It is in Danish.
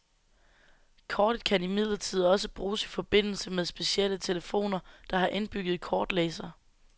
Kortet kan imidlertid også bruges i forbindelse med specielle telefoner, der har indbygget kortlæser.